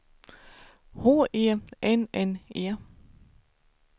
H E N N E